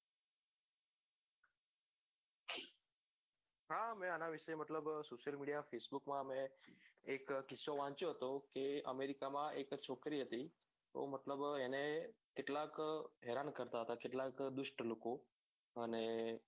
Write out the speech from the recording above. હા મેં આના વિશે મતલબ social media ફેસબુક માં મેં એક કિસ્સો વાંચ્યો હતો કે અમેરિકા માં એક છોકરી હતી તો મતલબ એને કેટલાક હેરાન કરતા હતા કેટલાક દુષ્ટ લોકો અને